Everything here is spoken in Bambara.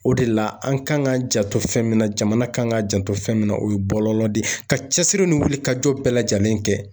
O de la an kan ka janto fɛn min na jamana kan ka janto fɛn min na o ye bɔlɔlɔ de ye ka cɛsiri ni wuli ka jɔ bɛɛ lajɛlen kɛ